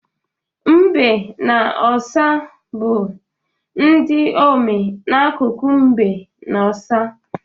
Mbe na ọsa bụ ndị omee n'akụkụ mbe na ọsa.